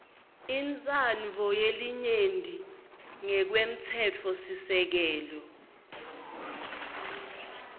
intsandvo yelinyenti ngekwemtsetfosisekelo